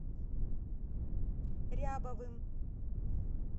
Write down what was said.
рябовым